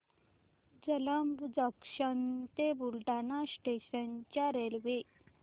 Jalamb junction ते Buldhana station च्या railway